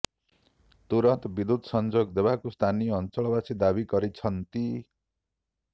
ତୁରନ୍ତ ବିଦ୍ୟୁତ ସଂଯୋଗ ଦେବାକୁ ସ୍ଥାନୀୟ ଅଞ୍ଚଳବାସୀ ଦାବୀ କରିଛନ୍ତି